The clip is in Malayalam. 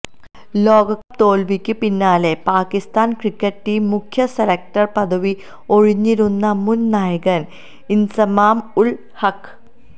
ലോകകപ്പ് തോൽവിക്ക് പിന്നാലെ പാക്കിസ്ഥാന് ക്രിക്കറ്റ് ടീം മുഖ്യ സെലക്ടര് പദവി ഒഴിഞ്ഞിരുന്നു മുന് നായകന് ഇന്സമാം ഉള് ഹഖ്